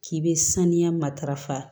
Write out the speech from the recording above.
K'i be saniya matarafa